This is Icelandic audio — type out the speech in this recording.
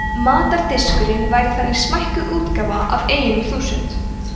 matardiskurinn væri þannig smækkuð útgáfa af eyjunum þúsund